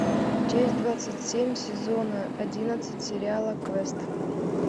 часть двадцать семь сезона одиннадцать сериала квест